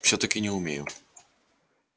всё-таки не умею